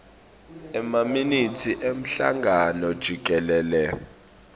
emaminitsi emhlangano jikelele